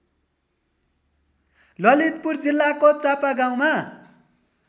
ललितपुर जिल्लाको चापागाउँमा